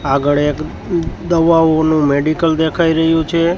આગળ એક દવાઓનું મેડિકલ દેખાય રહ્યુ છે.